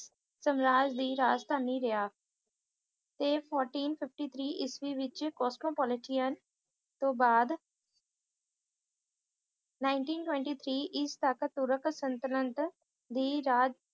ਸਮਰਾਜ ਦੀ ਰਾਜਧਾਨੀ ਰਿਹਾ ਇਹ fourteen fifty three ਇਸਵੀਂ ਚ ਕੋਸਮੋਪੋਲਟੀਅਨ ਤੋਂ ਬਾਅਦ nineteen twenty three ਇਸਵੀਂ ਤੱਕ ਤੁਰਕ ਸਲਤਨਤ ਦੀ ਦਾ